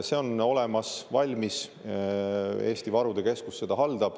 See on olemas, valmis, Eesti Varude Keskus haldab seda.